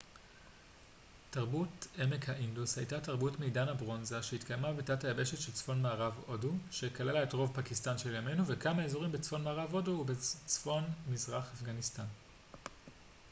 תרבות עמק האינדוס הייתה תרבות מעידן הברונזה שהתקיימה בתת היבשת של צפון מערב הודו שכללה את רוב פקיסטן של ימינו וכמה אזורים בצפון מערב הודו ובצפון מזרח אפגניסטן